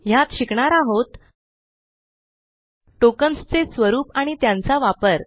ह्यात शिकणार आहोत टोकेन्स चे स्वरूप आणि त्यांचा वापर